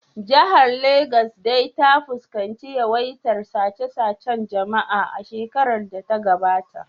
Jihar Legas dai ta fuskanci yawaitar sace-sacen jama’a a shekarar da ta gabata